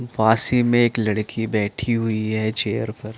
पास ही में एक लड़की बैठी हुई है चेयर पर --